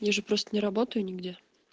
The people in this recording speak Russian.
я же просто не работаю нигде